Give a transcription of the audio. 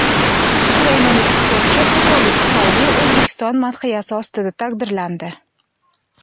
Ukrainalik sportchi xatolik tufayli O‘zbekiston madhiyasi ostida taqdirlandi .